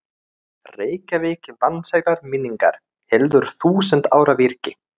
Reykjavík vansællar minningar, heldur þúsund ára virki.